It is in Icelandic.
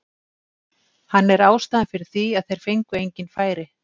Hann er ástæðan fyrir því að þeir fengu engin færi.